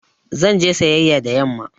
Zan je sayayƴa da yamma